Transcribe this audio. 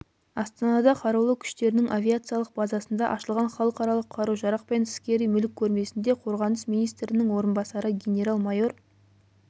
астанада қарулы күштерінің авиациялық базасында ашылған халықаралық қару-жарақ пен скери мүлік көрмесінде қорғаныс министрінің орынбасары генерал-майор